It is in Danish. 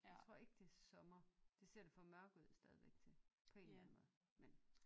Jeg tror ikke det er sommer det ser det for mørkt ud stadigvæk til på en eller anden måde men